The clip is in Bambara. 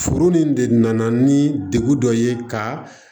Furu nin de nana ni degun dɔ ye ka